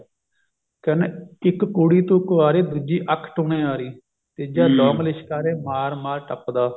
ਕਹਿੰਦੇ ਇੱਕ ਕੁੜੀ ਤੂੰ ਕੁਆਰੀ ਦੂਜੀ ਅੱਖ ਟੂਣੇਹਾਰੀ ਤੀਜਾ ਲੌਗ ਲਿਸ਼ਕਾਰੇ ਮਾਰ ਮਾਰ ਪੱਟਦਾ